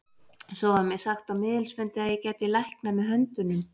Svo var mér sagt á miðilsfundi að ég gæti læknað með höndunum.